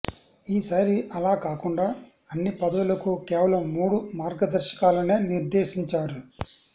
ఈసారి అలా కాకుండా అన్ని పదవులకు కేవలం మూడు మార్గదర్శకాలనే నిర్దేశించారు